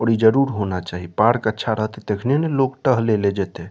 और इ ज़रूर होना चाही पार्क अच्छा रहते तखने न लोग टहले ले जेते।